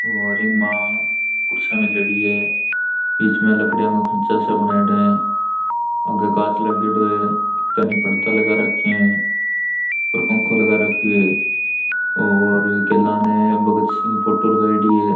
और इमा कुर्सियां मिलेडी है बीच में लकड़ियों का खाँचा सा बनऐड़ा है आगे कांच लगेडो है एकानी पर्दा लगा रखे है और पंखो लगा रखयो है और ने भगत सिंह फोटो लगायेड़ी है।